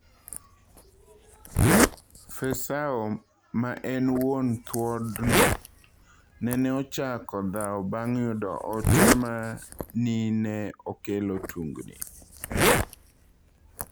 Fesseau ma en wuon thuodno, neneochako dhao bang' yudo ote ma nineokelo tungni.